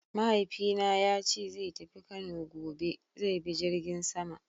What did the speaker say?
Mahaifina yace zai tafi Kano gobe; zai bi jirgin sama.